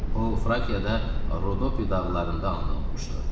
O Frakada Rodopi dağlarında anadan olmuşdu.